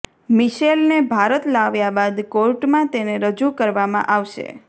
મિશેલને ભારત લાવ્યા બાદ કોર્ટમાં તેને રજૂ કરવામાં આવશે